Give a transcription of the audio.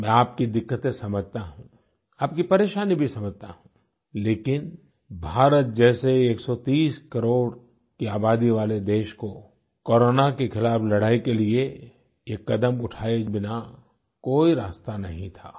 मैं आपकी दिक्कतें समझता हूँ आपकी परेशानी भी समझता हूँ लेकिन भारत जैसे 130 करोड़ की आबादी वाले देश को कोरोना के खिलाफ़ लड़ाई के लिए ये कदम उठाये बिना कोई रास्ता नहीं था